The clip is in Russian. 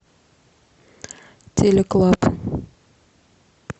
телеклаб